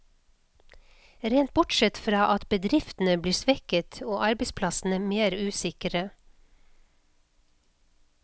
Rent bortsett fra at bedriftene blir svekket, og arbeidsplassene mer usikre.